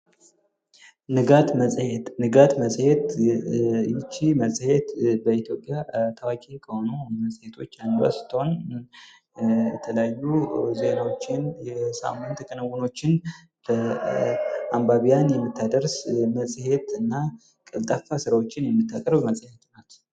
ንጋት መጽሄት ይህች መጽሄት በኢትዮጵያ ታዋቂ መጽሔቶች አንዷን ስትሆን የተለያዩ ዜናዎችን የሳምንት ክንውኖችን ለአንባቢያን የምታደርስ መጽሄትና ቀልጣፋ ስራዎችን የምታቀርብ ናት።